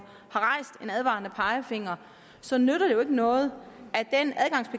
advarende pegefinger så nytter det jo ikke noget